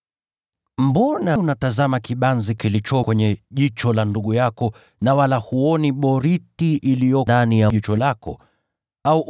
“Mbona unatazama kibanzi kilicho ndani ya jicho la ndugu yako, na wala huoni boriti iliyo ndani ya jicho lako mwenyewe?